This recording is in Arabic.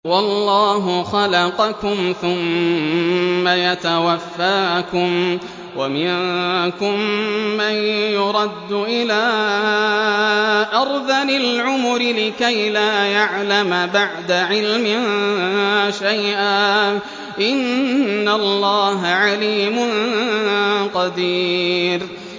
وَاللَّهُ خَلَقَكُمْ ثُمَّ يَتَوَفَّاكُمْ ۚ وَمِنكُم مَّن يُرَدُّ إِلَىٰ أَرْذَلِ الْعُمُرِ لِكَيْ لَا يَعْلَمَ بَعْدَ عِلْمٍ شَيْئًا ۚ إِنَّ اللَّهَ عَلِيمٌ قَدِيرٌ